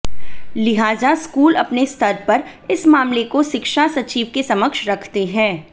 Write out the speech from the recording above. लिहाजा स्कूल अपने स्तर पर इस मामले को शिक्षा सचिव के समक्ष रखते हैं